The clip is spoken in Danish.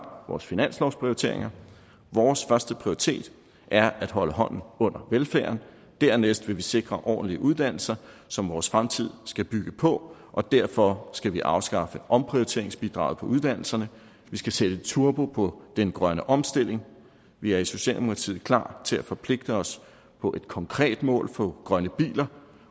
vores finanslovsprioriteringer vores førsteprioritet er at holde hånden under velfærden dernæst vil vi sikre ordentlige uddannelser som vores fremtid skal bygge på og derfor skal vi afskaffe omprioriteringsbidraget på uddannelserne vi skal sætte turbo på den grønne omstilling vi er i socialdemokratiet klar til at forpligte os på et konkret mål for grønne biler